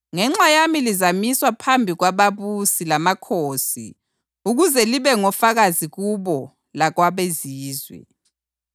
Ngenxa yami lizamiswa phambi kwababusi lamakhosi ukuze libe ngofakazi kubo lakwabeZizwe.